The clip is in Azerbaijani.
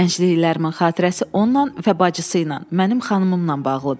Gəncliyimin xatirəsi onunla və bacısı ilə, mənim xanımımla bağlıdır.